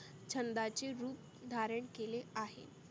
छंदाची रुप धारन केले आहे.